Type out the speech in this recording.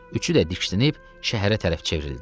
Üçü də diksinib şəhərə tərəf çevrildi.